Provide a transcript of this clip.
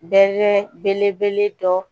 Bɛɛ bɛle dɔ